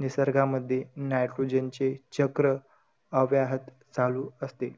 निसर्गामध्ये nitrogen चे चक्र अव्याहत चालू असते.